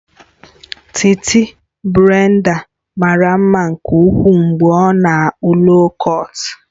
Titi Brenda mara mma nke ukwuu mgbe ọ na-akpụ loo kọt